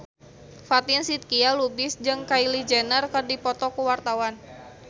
Fatin Shidqia Lubis jeung Kylie Jenner keur dipoto ku wartawan